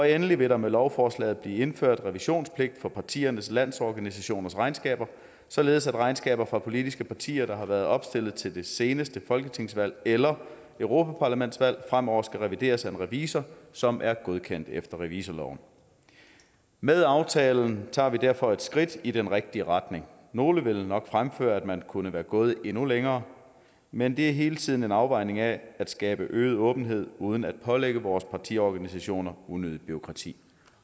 endelig vil der med lovforslaget blive indført revisionspligt for partiernes landsorganisationers regnskaber således at regnskaber fra politiske partier der har været opstillet til det seneste folketingsvalg eller europaparlamentsvalg fremover skal revideres af en revisor som er godkendt efter revisorloven med aftalen tager vi derfor et skridt i den rigtige retning nogle vil nok fremføre at man kunne være gået endnu længere men det er hele tiden en afvejning af at skabe øget åbenhed uden at pålægge vores partiorganisationer unødigt bureaukrati